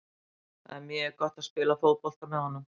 Það er mjög gott að spila fótbolta með honum.